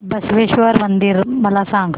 बसवेश्वर मंदिर मला सांग